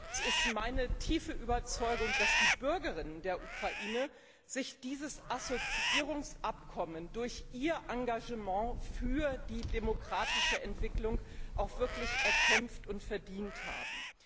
Es ist meine tiefe Überzeugung, dass die Bürgerinnen und Bürger der Ukraine sich dieses Assoziierungsabkommen durch ihr Engagement für die demokratische Entwicklung wirklich erkämpft und verdient haben.